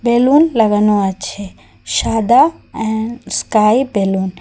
Balloon লাগানো আছে সাদা এন্ড স্কাই বেলুন ।